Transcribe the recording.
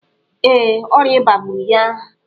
Ee, ọrịa ịba gburu ya.